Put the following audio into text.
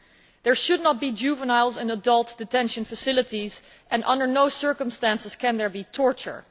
There should not be juveniles in adult detention facilities and under no circumstances can there be torture.